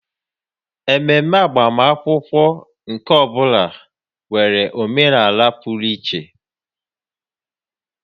Ememe agbamakwụkwọ nke ọ bụla nwere omenala pụrụ iche